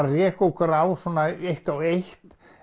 að reka okkur á svona eitt og eitt